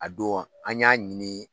A don an y'a ɲini